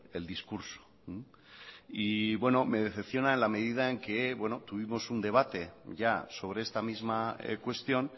el discurso y bueno me decepciona en la medida en que tuvimos un debate ya sobre esta misma cuestión